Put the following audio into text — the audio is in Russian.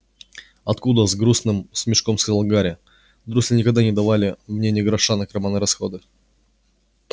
откуда с грустным смешком сказал гарри дурсли никогда не давали мне ни гроша на карманные расходы